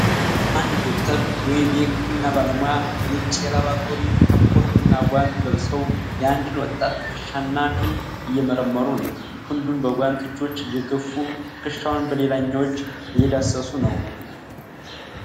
አንድ ዶክተር (ወይም የሕክምና ባለሙያ) ነጭ የላብራቶሪ ካፖርት እና ጓንት ለብሰው የአንድን ወጣት ትከሻ እና ክንድ እየመረመሩ ነው። ክንዱን በጓንት እጆች እየደገፉ ትከሻውን በሌላኛው እጅ እየዳሰሱ ነው።